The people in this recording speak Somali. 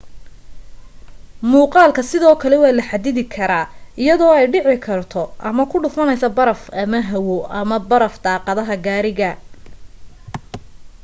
muuqaalku sidoo kale waa la xaddidi karaa iyadoo ay dhici karto ama ku dhufanayso baraf ama hawo ama baraf daaqadaha gaariga